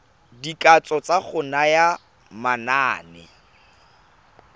dikatso tsa go naya manane